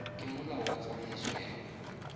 ke molao wa tsamaiso ya